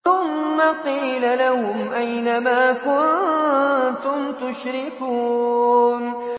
ثُمَّ قِيلَ لَهُمْ أَيْنَ مَا كُنتُمْ تُشْرِكُونَ